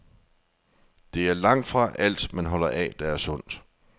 Det er langtfra alt, man holder af, der er sundt.